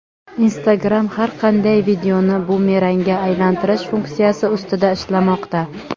Instagram har qanday videoni bumerangga aylantirish funksiyasi ustida ishlamoqda.